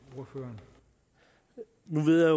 noget